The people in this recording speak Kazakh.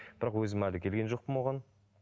бірақ өзім әлі келген жоқпын оған